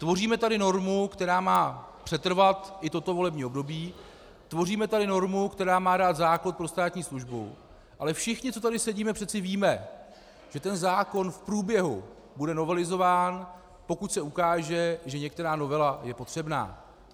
Tvoříme tady normu, která má přetrvat i toto volební období, tvoříme tady normu, která má dát základ pro státní službu, ale všichni, co tady sedíme, přece víme, že ten zákon v průběhu bude novelizován, pokud se ukáže, že některá novela je potřebná.